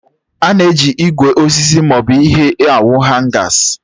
A na-eji ígwè, osisi, maọbụ ihe awu Hangas.